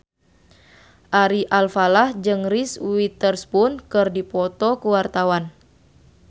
Ari Alfalah jeung Reese Witherspoon keur dipoto ku wartawan